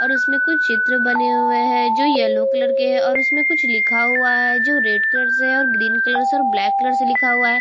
और उसमें कुछ चित्र बने हुए हैं जो येलो कलर के हैं और उसमें कुछ लिखा हुआ है जो रेड कलर से है और ग्रीन कलर से और ब्लैक कलर से लिखा हुआ है।